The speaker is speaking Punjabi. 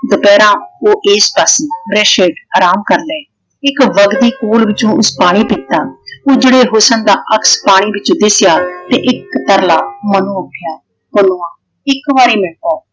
ਦੁਪਹਿਰਾਂ ਉਹ ਏਸ ਪਾਸੇ ਵ੍ਰਿਸ਼ ਚ ਅਰਾਮ ਕਰ ਲਏ ।ਇਕ ਵਗਦੀ ਕੂਲ ਵਿਚੋਂ ਉਸ ਪਾਣੀ ਪੀਤਾ। ਉਜੜੇ ਹੁਸਨ ਦਾ ਅਕਸ਼ ਪਾਣੀ ਵਿੱਚ ਦਿੱਸਿਆ ਤੇ ਇੱਕ ਤਰਲਾ ਮਨੋ ਉੱਠਿਆ ਪੁੰਨੂਆਂ ਇਕ ਵਾਰੀ ਮਿਲ ਲੈ।